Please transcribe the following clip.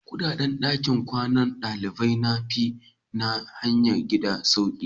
Kudaden dakin kwanan dalibai na fi na hayan gida sauƙi.